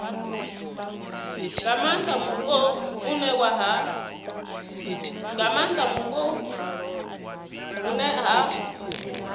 nga maanda mupo hune ha